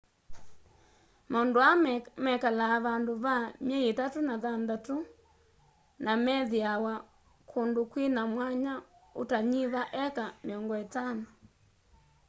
maũndũ aa mekala vandũ va myei ĩtatũ na thanthatũ namethiawa kũndũ kwĩna mwanya utanyiva heka 50